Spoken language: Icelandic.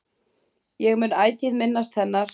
Ég mun ætíð minnast hennar.